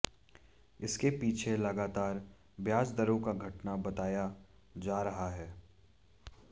इसके पीछे लगातार ब्याज दरों का घटना बताया जा रहा है